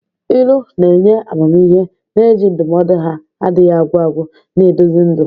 Ilu na-enye amamihe, na-eji ndụmọdụ ha na-adịghị agwụ agwụ na-eduzi ndụ.